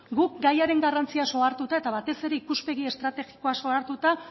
guk gaiaren garrantziaz ohartuta eta batez ere ikuspegi estrategikoaz ohartuta